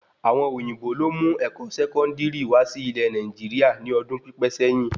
Àwọn òyìnbó lo mu ẹkọ sẹkọndiri wà sí ilé Nàìjíríà ní ọdún pipẹ sẹyìn